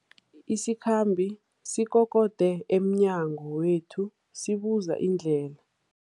Isikhambi sikokode emnyango wethu sibuza indlela.